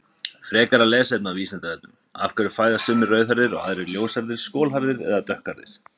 Frekara lesefni á Vísindavefnum: Af hverju fæðast sumir rauðhærðir og aðrir ljóshærðir, skolhærðir eða dökkhærðir?